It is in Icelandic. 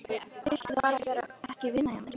Viltu þá bara ekki vinna hjá mér?